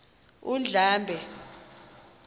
undlambe